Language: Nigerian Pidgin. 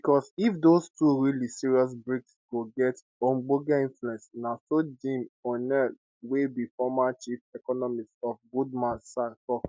becos if those two really serious brics go get ogbonge influence na so jim oneill wey be former chief economist of goldman sachs tok